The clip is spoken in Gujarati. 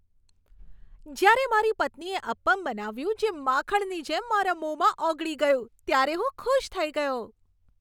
જ્યારે મારી પત્નીએ અપ્પમ બનાવ્યું જે માખણની જેમ મારા મોંમાં ઓગળી ગયું, ત્યારે હું ખુશ થઈ ગયો.